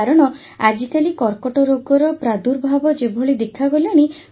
କାରଣ ଆଜିକାଲି କର୍କଟ ରୋଗର ପ୍ରାଦୁର୍ଭାବ ଯେଭଳି ଦେଖାଗଲାଣି